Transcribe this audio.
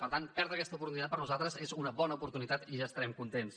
per tant perdre aquesta oportunitat per a nosaltres és una bona oportunitat i ja estarem contents